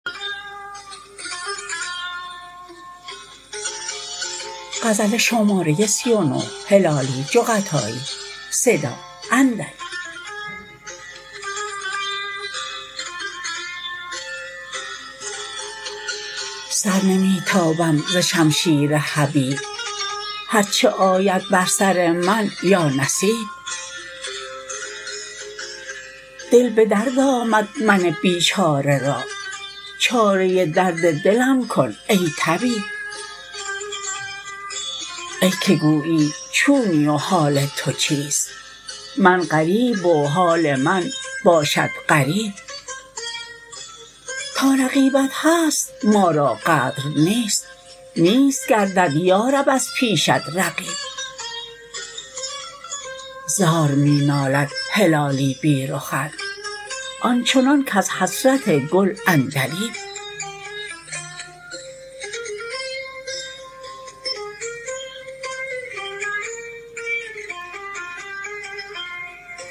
سر نمی تابم ز شمشیر حبیب هر چه آید بر سر من یا نصیب دل بدرد آمد من بیچاره را چاره درد دلم کن ای طبیب ای که گویی چونی و حال تو چیست من غریب و حال من باشد غریب تا رقیبت هست ما را قدر نیست نیست گردد یارب از پیشت رقیب زار می نالد هلالی بی رخت آن چنان کز حسرت گل عندلیب